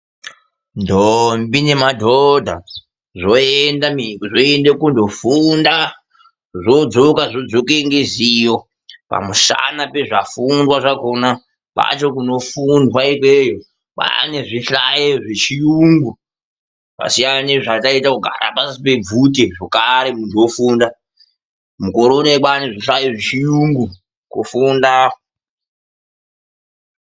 Ndombi nemadhodha zvoenda kundofunda zvodzoka neruzivo pamushana nezvafundwa zvakona. Kwacho kunofundwa ikweyo kwane zvihlayo zvechirungu kwasiyana nezvataita kugara pasi pebvute kugara muntu ofunda.